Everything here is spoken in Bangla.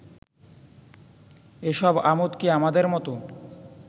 এসব আমোদ কি আমাদের মতো